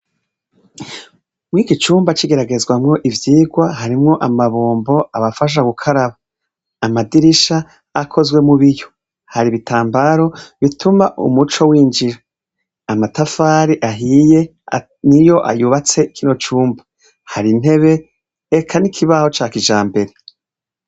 Mw'iki cumba c'igeragezwamwo ivyigwa harimwo amabombo abafasha gukaraba ,amadirisha akozwe mu biyo hari ibitambaro bituma umuco winjira amatafari ahiye niyo yubatse kino cumba ,hari intebe eka n'ikibaho ca kijambere.